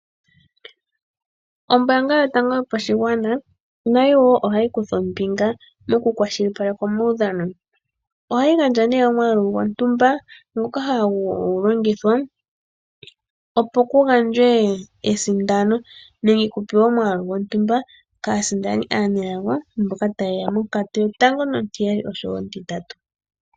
Ombaanga yotango yopashigwana nayo wo ohayi kutha ombinga mokukwashilipaleka omaudhano. Ohayi gandja nee omwaalu gontumba ngoka hagu longithwa, opo ku gandjwe esindano nenge ku pewe omwaalu gontumba kaasindani aanelago mboka taye ya monkatu yotango nontiyali nosho wo ontintatu.